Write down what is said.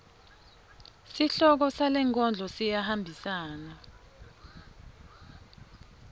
sihloko salenkondlo siyahambisana